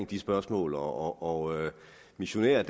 de spørgsmål og missionær er